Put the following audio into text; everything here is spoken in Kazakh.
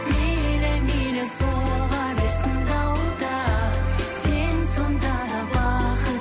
мейлі мейлі соға берсін дауыл да сен сонда да бақыт